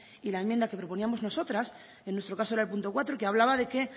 y la enmienda que proponíamos nosotras en nuestro caso era el punto cuatro y que hablaba de que